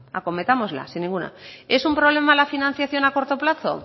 acometámosla sin ninguna duda es un problema la financiación a corto plazo